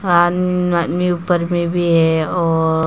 ऊपर में भी है और--